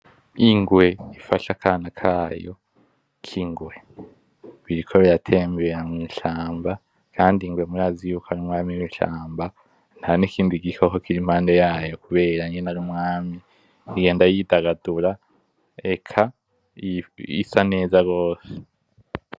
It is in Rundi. Ingwe ifashe akana kayo k'ingwe biriko biratembera mwishamba, kandi ingwe murazi kari umwami wishamba nta nikindi gikoko kiri mpande yayo kubera ari umwami. Igenda yitagatura isa neza gose.